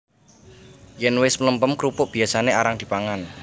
Yèn wis mlempem krupuk biyasané arang dipangan